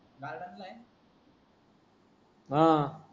हा